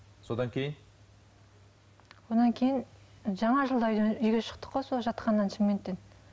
содан кейін содан кейін жаңа жылда үйге шықтық қой сол жатқаннан шымкенттен